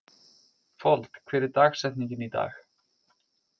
Fold, hver er dagsetningin í dag?